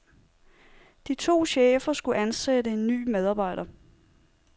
De to chefer skulle ansætte en ny medarbejder.